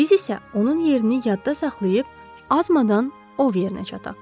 Biz isə onun yerini yadda saxlayıb, azmadan o yerinə çataq.